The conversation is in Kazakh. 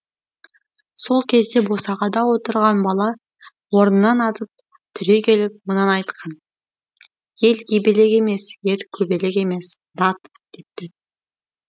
сол кезде босағада отырған бала орнынан атып түрегеліп мынаны айтқан ел ебелек емес ер көбелек емес дат депті